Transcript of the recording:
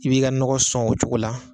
I b'i ka nɔgɔ sɔn o cogo la